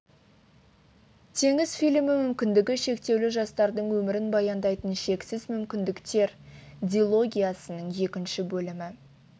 теңіз фильмі мүмкіндігі шектеулі жастардың өмірін баяндайтын шексіз мүмкіндіктер дилогиясының екінші бөлімі